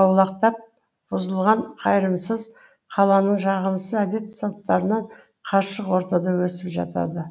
аулақтап бұзылған қайырымсыз қаланың жағымсыз әдет салттарынан қашық ортада өсіп жатады